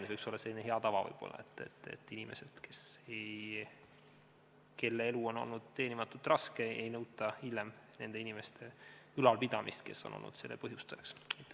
See võiks olla selline hea tava, et inimeselt, kelle elu on olnud teenimatult raske, ei nõuta hiljem nende inimeste, kes on olnud selle raske elu põhjustajaks, ülalpidamist.